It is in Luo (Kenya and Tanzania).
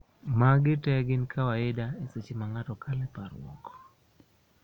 magi te gin kawaida e seche ma ng'ato kalo e parruok